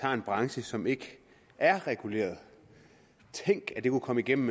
har en branche som ikke er reguleret tænk at det kunne komme igennem